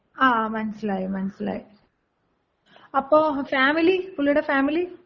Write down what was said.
ങ്ങാ മനസ്സിലായി മനസ്സിലായി. അപ്പോ ഫാമിലി? പുള്ളിടെ ഫാമിലി?